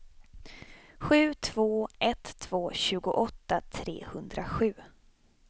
sju två ett två tjugoåtta trehundrasju